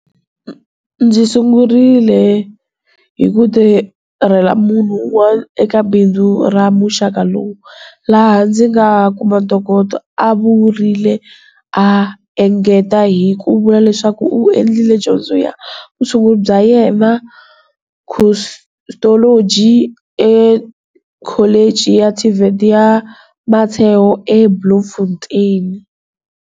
Ndzi sungurile hi ku tirhela munhu un'wana eka bindzu ra muxaka lowu, laha ndzi nga kuma ntokoto, a vurile, a engeta hi ku vula leswaku u endlile dyondzo ya vutshunguri bya vumbhuri, Cosmetology, eKholichini ya TVET ya Motheo eBloemfontein.